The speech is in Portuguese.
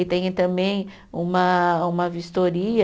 E tem também uma, uma vistoria